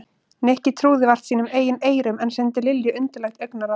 Nikki trúði vart sínum eigin eyrum en sendi Lilju undarlegt augnaráð.